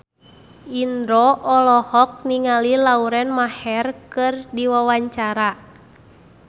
Indro olohok ningali Lauren Maher keur diwawancara